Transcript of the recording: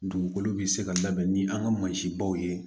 Dugukolo be se ka labɛn ni an ka mansinbaw ye